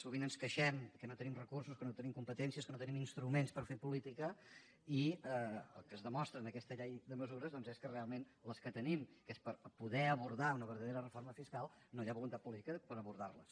sovint ens queixem que no tenim recursos que no tenim competències que no tenim instruments per fer política i el que es demostra en aquesta llei de mesures doncs és que realment les que tenim que és per poder abordar una verdadera reforma fiscal no hi ha voluntat política per abordar les